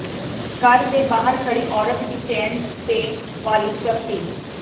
ਘਰ ਦੇ ਬਾਹਰ ਖੜ੍ਹੀ ਔਰਤ ਦੀ ਚੇਨ ਤੇ ਵਾਲੀ ਝਪਟੀ